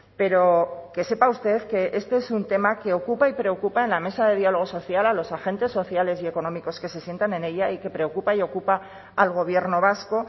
pero que sepa usted que este es un tema que ocupa y preocupa en la mesa de diálogo social a los agentes sociales y económicos que se sientan en ella y que preocupa y ocupa al gobierno vasco